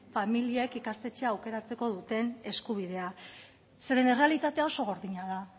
familiek ikastetxeak aukeratzeko duten eskubidea zeren errealitatea oso gordina da